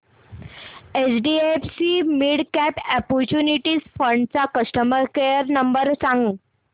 HDFC midcap opportunities fund चा customer care number सांग